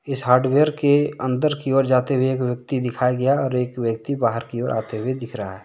इस हार्डवेयर के अंदर की ओर जाते हुए एक व्यक्ति दिखाया गया है और एक व्यक्ति बाहर की ओर आते हुए दिख रहा है।